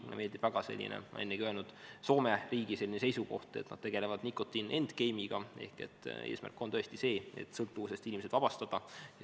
Mulle meeldib väga, ma olen seda ennegi öelnud, Soome riigi selline seisukoht, et nad tegelevad nicotine endgame'iga ehk eesmärk on tõesti see, et sõltuvusest inimesed vabastada.